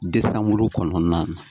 De sanbulu kɔnɔna na